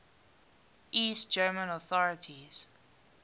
east german authorities